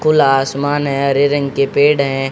खुला आसमान हैं। हरे रंग के पेड़ है।